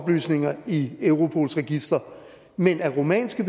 oplysninger i europols register men at rumænske